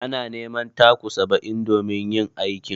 Ana neman taku saba'in domin yin aikin.